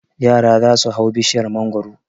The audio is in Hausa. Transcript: Yara za su hau bishiyar mangwaro.